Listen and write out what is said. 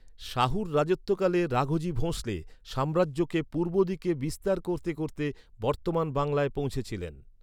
শাহুর রাজত্বকালে রাঘোজি ভোঁসলে সাম্রাজ্যকে পূর্ব দিকে বিস্তার করতে করতে বর্তমান বাংলায় পৌঁছেছিলেন।